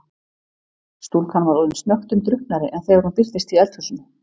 Stúlkan var orðin snöggtum drukknari en þegar hún birtist í eldhúsinu.